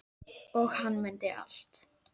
Og hann mundi allt.